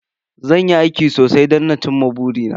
Zan yi aiki sosai don na ci ma buri na